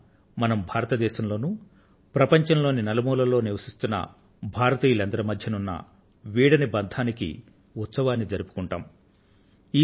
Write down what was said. ఈ రోజున మనం భారతదేశంలోనూ ప్రపంచంలోని నలుమూలల్లోనూ నివసిస్తున్న భారతీయులందరి మధ్యన ఉన్న వీడని బంధానికి ఉత్సవాన్ని జరుపుకొంటాం